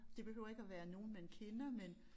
Det behøver ikke at være nogen man kender men